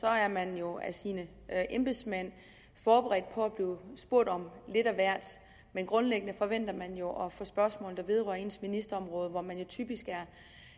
er man jo af sine embedsmænd forberedt på at blive spurgt om lidt af hvert men grundlæggende forventer man jo at få spørgsmål der vedrører ens ministerområde og hvor man jo typisk er